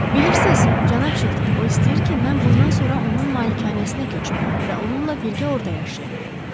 Bilirsiniz, cənab Chilton, o istəyir ki, mən bundan sonra onun malikanəsinə köçüm və onunla birgə orda yaşayım.